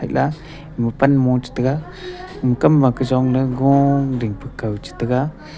la mopan mo chetaiga uhkamma kajongley goo dingpu kaw chetega.